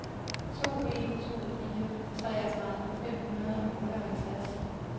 to en to fire treogtredive fem hundrede og otteoghalvtreds